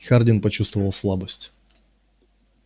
хардин почувствовал слабость